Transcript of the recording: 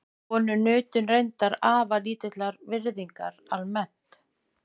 Konur nutu reyndar afar lítillar virðingar almennt.